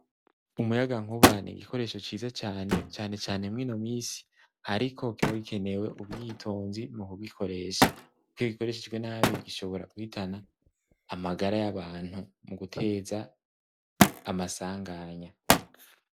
Umuyaga nkuba ni igikoresho ciza cane cane mw'ino misi ,ariko kiba gikenewe ubwitonzi mu kugikoresha ,kuko iyo gikoreshejwe nabi gishobora guhitana amagara y'abantu, mu guteza amasanganya.